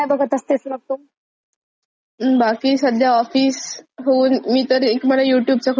बाकी सध्या ऑफिस हून मी तर एक मला यूट्यूब चा खूप जास्त नाद लागलेलाय सध्या.